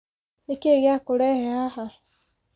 Nĩki gyakũrehe haha.